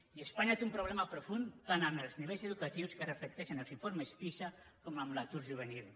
i espanya té un problema profund tant amb els nivells educatius que reflecteixen els informes pisa com amb l’atur juvenil